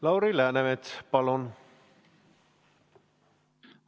Lauri Läänemets, palun!